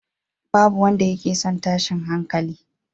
Ba wanda yake son tashin hankali.